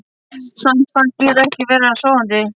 Samt fannst mér ég vera sofandi.